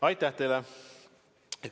Aitäh teile!